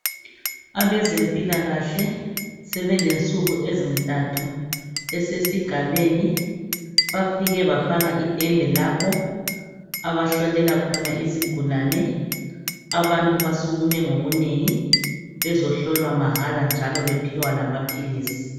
Abezempilakahle sebelensuku ezintathu besesigabeni bafike bafaka itende labo abahlolela khona izigulani abantu basukume ngobunengi bezohlolwa mahala njalo bephiwa lamaphilisi